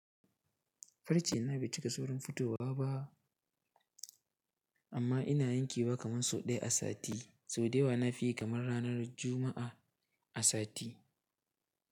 Farce na bai cika saurin fitowa ba amma ina yankewa kaman sau ɗaya a sati, sau da yawa na fi yi kamar ranar Juma'a a sati.